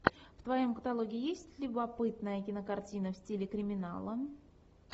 в твоем каталоге есть любопытная кинокартина в стиле криминала